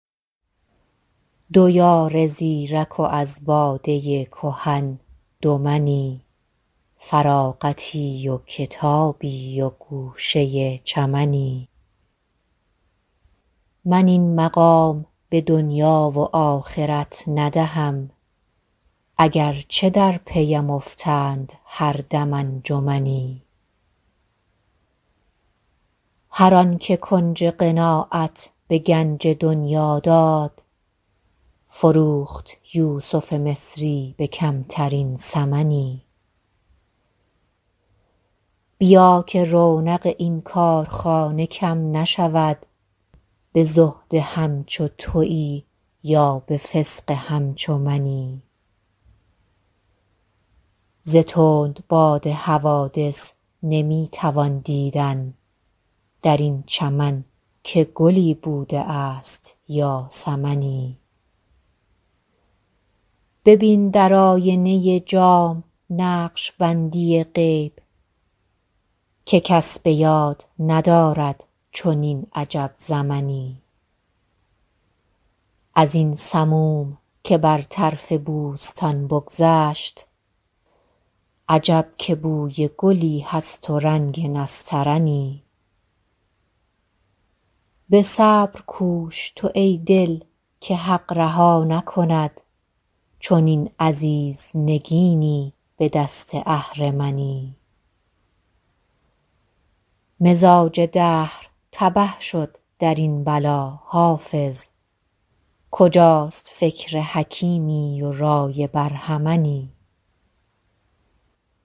دو یار زیرک و از باده کهن دو منی فراغتی و کتابی و گوشه چمنی من این مقام به دنیا و آخرت ندهم اگر چه در پی ام افتند هر دم انجمنی هر آن که کنج قناعت به گنج دنیا داد فروخت یوسف مصری به کمترین ثمنی بیا که رونق این کارخانه کم نشود به زهد همچو تویی یا به فسق همچو منی ز تندباد حوادث نمی توان دیدن در این چمن که گلی بوده است یا سمنی ببین در آینه جام نقش بندی غیب که کس به یاد ندارد چنین عجب زمنی از این سموم که بر طرف بوستان بگذشت عجب که بوی گلی هست و رنگ نسترنی به صبر کوش تو ای دل که حق رها نکند چنین عزیز نگینی به دست اهرمنی مزاج دهر تبه شد در این بلا حافظ کجاست فکر حکیمی و رای برهمنی